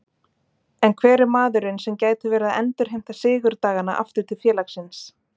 En hver er maðurinn sem gæti verið að endurheimta sigurdagana aftur til félagsins?